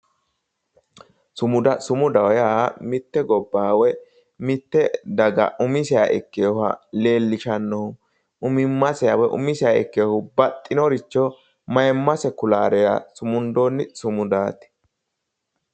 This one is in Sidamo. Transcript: sumuda sumudaho yaa mitte gobbaha woy mitte daga umiseha ikkinoha leellishannohu umimmaseha woyi umiseha ikkinoricho baxxinoricho mayiimmase kulara sumundoonni sumudaati.